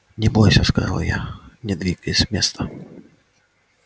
не бойся сказал я не двигаясь с места